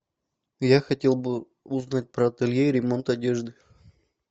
я хотел бы узнать про ателье и ремонт одежды